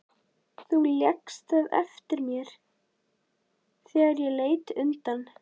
Þú lékst það eftir mér þegar ég leit undan.